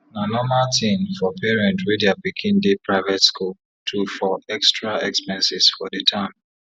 na norma tin for parent wey dia pikin dey private skul to for extra expenses for d term